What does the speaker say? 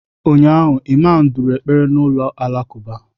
Ụnyaahụ, imamu duru ekpere n'ụlọ alakụba.